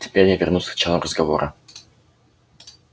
теперь я вернусь к началу разговора